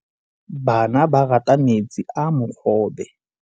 Bana ba rata metsi a mogobe.